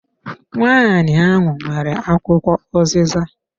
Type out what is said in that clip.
Nwanyi ahụ nwere akwụkwọ uziza.